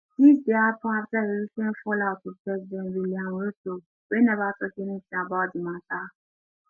dis dey happun afta e recent fallout with president william ruto wey never tok anything about di matter